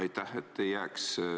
Aitäh!